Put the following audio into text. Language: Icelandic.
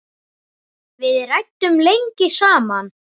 Við ræddum lengi saman.